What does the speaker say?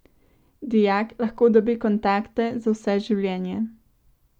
Dijak lahko dobi kontakte za vse življenje.